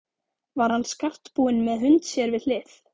Var hann skartbúinn með hund sér við hlið.